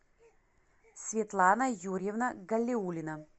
светлана юрьевна галиуллина